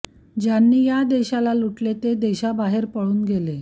ज्यांनी या देशाला लुटले ते देशाबाहेर पळून गेले